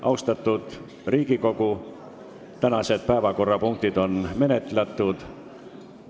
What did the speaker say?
Austatud Riigikogu, tänased päevakorrapunktid on menetletud.